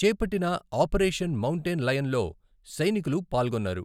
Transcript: చేపట్టిన operation mountain లయన్లో సైనికులు పాల్గొన్నారు.